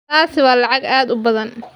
Taasi waa lacag aad u badan.